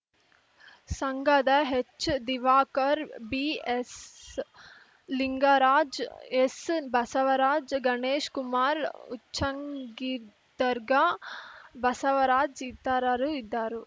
ಸಂಘದ ಹೆಚ್‌ದಿವಾಕರ್‌ ಬಿಎಸ್ಲಿಂಗರಾಜ್ ಎಸ್‌ಬಸವರಾಜ್ ಗಣೇಶ್ ಕುಮಾರ ಉಚ್ಚಂಗಿದರ್ಗ ಬಸವರಾಜ್ ಇತರರು ಇದ್ದಾರು